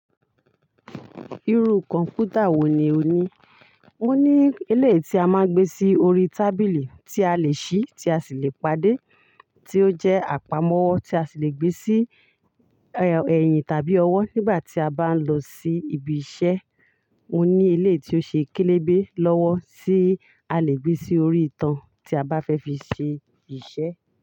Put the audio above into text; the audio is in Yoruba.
Irú kọ̀ǹpútà wò ní ò ní? Ó ní eleyii tí a máa ń gbé sí orí tábìlì tí a lè ṣí tí a sì lè pàdé, tí ó jẹ́ àpamọ́ tí a sì lè gbé sí, ẹ́, ẹ̀yìn tàbí ọwọ́ nígbà tí a bá ń lọ sí ibi iṣẹ́. Ó ní ilé tí ó ṣe kélébé lọ́wọ́ tí a lè gbé sí orí ìtàn tí a bá fẹ́ fi ṣe iṣẹ́